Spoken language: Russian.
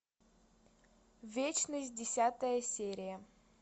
вечность десятая серия